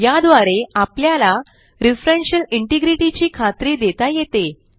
याद्वारे आपल्याला referential integrity ची खात्री देता येते